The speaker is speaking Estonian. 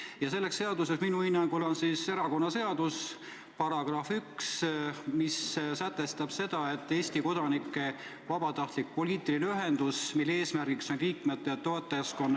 Ja selleks seaduseks minu hinnangul on erakonnaseadus, mille § 1 sätestab seda, et erakond on Eesti kodanike vabatahtlik poliitiline ühendus, mille eesmärgiks on liikmete ja toetajaskonna ...